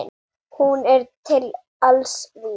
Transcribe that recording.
Hún er til alls vís.